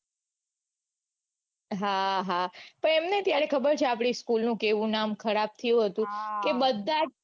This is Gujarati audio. હા હા પણ એમ નઈ કે ત્યારે ખબર છે કે આપડી school નું કેવું નામ ખરાબ થયું તું કે બધા